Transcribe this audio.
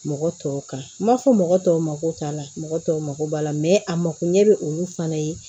Mɔgɔ tɔw kan m'a fɔ mɔgɔ tɔw ma ko t'a la mɔgɔ tɔw mako b'a la a mako ɲɛ bɛ olu fana ye